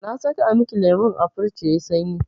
Na saka miki lemun a firij yayi sanyi.